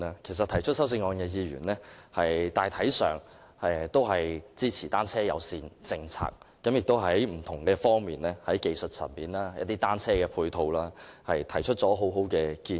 其實提出修正案的議員，大體上均支持單車友善政策，亦就不同方面如技術層面、單車配套等提出很好的建議。